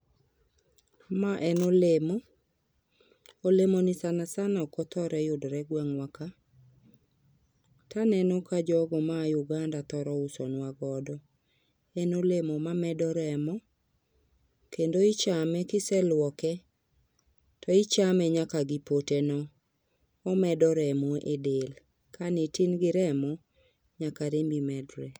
Ma en olemo. Olemoni sana sana ok othoro yudre gweng'wa ka. Taneno ka jogo maa Uganda thoro usonwa godo. En olemo mamedo remo, kendo ichame kiselwoke to ichame nyaka gipote. Omedo remo e del, kanitin gi remo, nyaka rembi medre